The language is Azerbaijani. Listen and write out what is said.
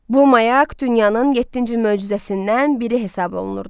Bu mayak dünyanın yeddinci möcüzəsindən biri hesab olunurdu.